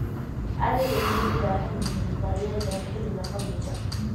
ariga miyee u baahan yihiin daryeel dheer xilliga qabowga